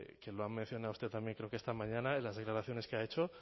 que lo ha mencionado usted también creo que esta mañana en las declaraciones que ha hecho